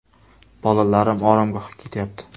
Bolalarim oromgohga ketyapti.